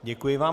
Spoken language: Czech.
Děkuji vám.